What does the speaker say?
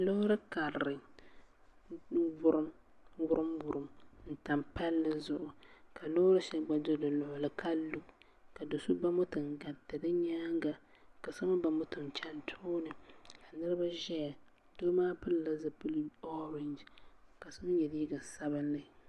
Loori karili n wurim wurim n tam palli zuɣu ka loori shɛli gba do di luɣuli ka lu ka so ba moto n gariti di nyaanga ka so mii ba moto n chɛni di tooni ka niraba ʒɛya doo maa pilila zipili orɛnji ka so mii yɛ liiga sabinli